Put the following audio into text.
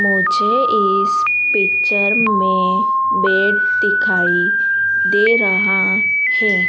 मुझे इस पिक्चर में बेड दिखाई दे रहा है।